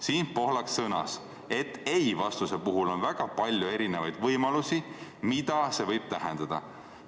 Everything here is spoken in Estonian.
S. Pohlak sõnas, et „ei“ vastuse puhul on väga palju erinevaid võimalusi, mida see võib tähendada.